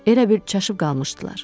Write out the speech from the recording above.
Elə bil çaşıb qalmışdılar.